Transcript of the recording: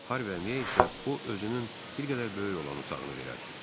Harviyə isə o özünün bir qədər böyük olan otağını verər.